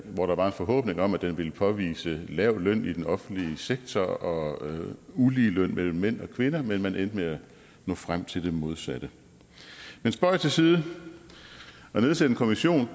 hvor der var en forhåbning om at den ville påvise lav løn i den offentlige sektor og ulige løn mellem mænd og kvinder men man endte med at nå frem til det modsatte men spøg til side at nedsætte en kommission